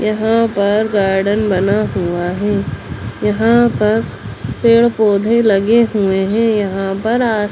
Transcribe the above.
यहाँ पर गार्डन बना हुआ है | यहाँ पर पेड़ पौधे लगे हुए हैं यहाँ पर आस--